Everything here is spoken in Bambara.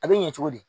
A bɛ ɲɛ cogo di